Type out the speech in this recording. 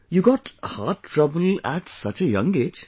You got heart trouble at such a young age